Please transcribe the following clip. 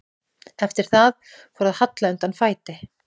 Eftir það fór að halla undan fæti.